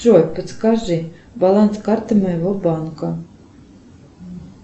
джой подскажи баланс карты моего банка